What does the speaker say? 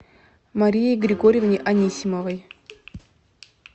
марии григорьевне анисимовой